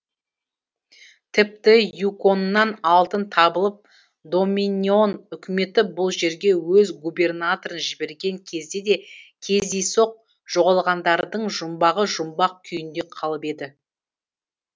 тіпті юконнан алтын табылып доминион үкіметі бұл жерге өз губернаторы жіберген кезде де кездейсоқ жоғалғандардың жұмбағы жұмбақ күйінде қалып еді